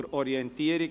Zur Orientierung